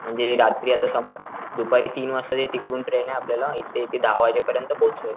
म्हणजे रात्री आता समज दुपारी तीन वाजताची तिकडून ट्रेन आपल्याला इथे ती दहा वाजेपरीयंत पोहोचेल.